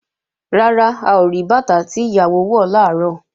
Rárá, a ò rí bàtà tí ìyàwó wọ̀ làárọ̀